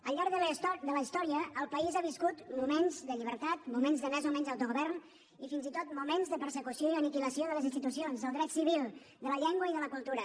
al llarg de la història el país ha viscut moments de llibertat moments de més o menys autogovern i fins i tot moments de persecució i aniquilació de les institucions del dret civil de la llengua i de la cultura